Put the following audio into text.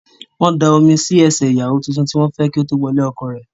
Wọ́n dami sí ẹṣẹ̀ ìyàwó tuntun tí wọ́n fẹ́ kí ó tó wọ ilé ọkọ rẹ̀.